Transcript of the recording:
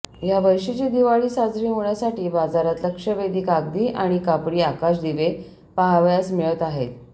या वर्षीची दिवाळी साजरी होण्यासाठी बाजारात लक्षवेधी कागदी आणि कापडी आकाश दिवे पहावयास मिळत आहेत